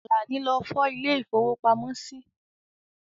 Àlàní lọ fọ̀ ilè ìfówópamọ́ sí.